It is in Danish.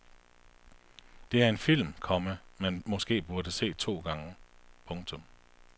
Det er en film, komma man måske burde se to gange. punktum